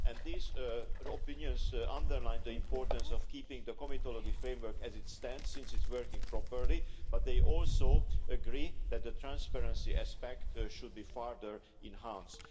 These opinions underline the importance of keeping the comitology framework as it stands, since it's working properly, but they also agree that the transparency aspect should be further enhanced.